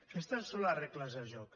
aquestes són les regles del joc